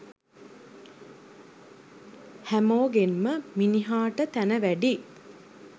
හැමෝගෙන්ම මිනිහට තැන වැඩියි.